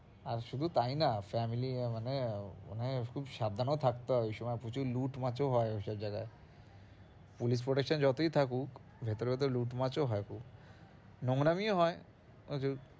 আর শুধু তাই না family মানে ওখানে খুব সাবধানেও থাকতে হয়, ওই সময় প্রচুর লুট হয় ঐসব জায়গায় police protection যতই থাকুক ভেতরে ভেতরে লুট হয় খুব নোংড়ামিও হয় প্রচুর।